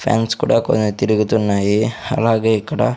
fans కుడా కొన్ని తిరుగుతున్నాయి అలాగే ఇక్కడ--